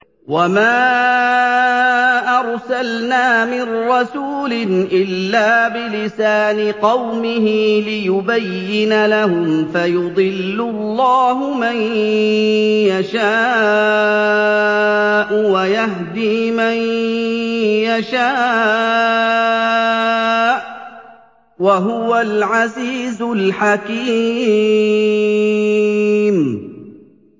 وَمَا أَرْسَلْنَا مِن رَّسُولٍ إِلَّا بِلِسَانِ قَوْمِهِ لِيُبَيِّنَ لَهُمْ ۖ فَيُضِلُّ اللَّهُ مَن يَشَاءُ وَيَهْدِي مَن يَشَاءُ ۚ وَهُوَ الْعَزِيزُ الْحَكِيمُ